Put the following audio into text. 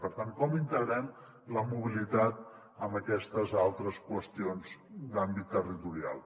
per tant com integrem la mobilitat amb aquestes altres qüestions d’àmbit territorial